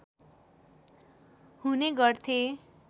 हुने गर्थे